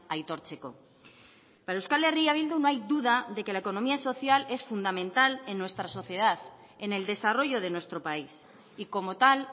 aitortzeko para euskal herria bildu no hay duda de que la economía social es fundamental en nuestra sociedad en el desarrollo de nuestro país y como tal